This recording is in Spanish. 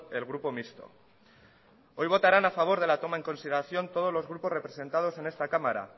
el grupo mixto hoy votarán a favor de la toma en consideración todos los grupos representados en esta cámara